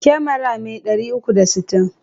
Kyamara mai 360.